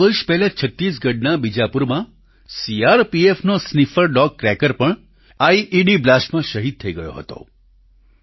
બેત્રણ વર્ષ પહેલાં છત્તીસગઢના બીજાપુરમાં સીઆરપીએફનો સ્નિફર ડોગ ક્રેકર પણ આઇઇડી બ્લાસ્ટમાં શહીદ થઈ ગયો હતો